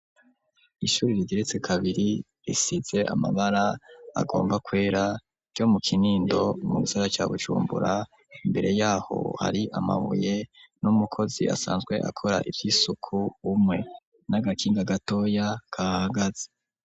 Ishuri rigeretse kabiri risize amabara agomba kwera ryo mu Kinindo mu gisagara ca Bujumbura, imbere yaho hari amabuye n'umukozi asanzwe akora ivy'isuku umwe n'agakinga gatoya kahahagaze.